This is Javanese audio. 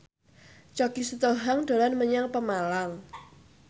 Choky Sitohang dolan menyang Pemalang